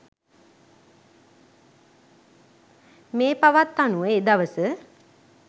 මෙ පවත් අනුව එදවස